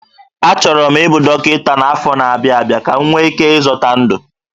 Achọrọ m ịbụ dọkịta n'afọ na-abịa abịa ka m nwee ike ịzọta ndụ